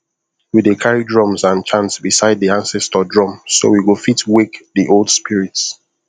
we dey carry drums and chant beside the ancestor drum so we go fit wake the old spirits